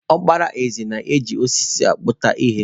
Okpara eze na-eji osisi akputa ihe.